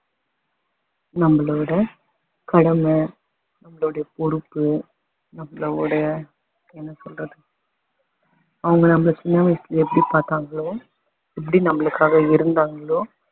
நம்மளோட கடமை நம்மளோட பொறுப்பு நம்மளோட என்ன சொல்றது அவங்க நம்மள சின்ன வயசுல எப்படி பாத்தாங்களோ எப்படி‌ நம்மளுக்காக இருந்தாங்களோ